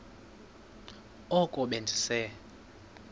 oko be ndise